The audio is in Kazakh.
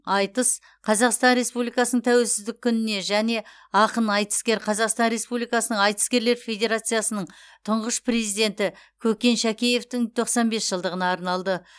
айтыс қазақстан республикасының тәуелсіздік күніне және ақын айтыскер қазақстан республикасының айтыскерлер федерациясының тұңғыш президенті көкен шәкеевтің тоқсан бес жылдығына арналды